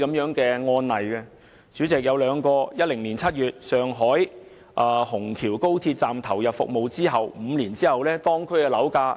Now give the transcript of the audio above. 上海虹橋高鐵站於2010年7月投入服務，當地樓價在5年後已上升1倍。